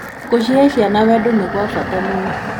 Gũcehe ciana wendo nĩ gwa bata mũno.